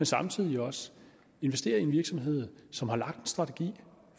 samtidig også investerer i en virksomhed som har lagt en strategi